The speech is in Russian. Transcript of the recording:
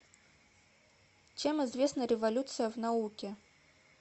чем известна революция в науке